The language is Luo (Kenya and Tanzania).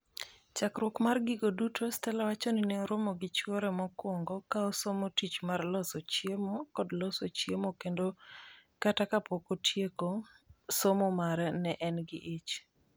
Chakruok mar gigo duto Stella wacho ni ne oromo gi chwore mokwongo ka osomo tich mar loso chiemo kod loso chiemo kendo kata kapok otieko somo mare ne en gi ich.